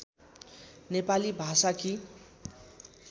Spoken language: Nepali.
नेपाली भाषाकी